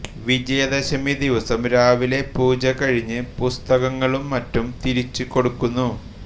വിജയദശമി ദിവസം രാവിലെ പൂജ കഴിഞ്ഞ് പുസ്തകങ്ങളും മറ്റും തിരിച്ചുകൊടുക്കുന്നു